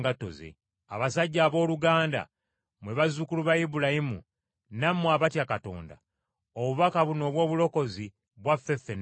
“Abasajja abooluganda mmwe bazzukulu ba Ibulayimu, nammwe abatya Katonda, obubaka buno obw’obulokozi, bwaffe ffenna wamu.